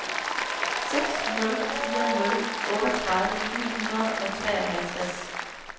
seks nul fire nul otteogtredive ni hundrede og treoghalvtreds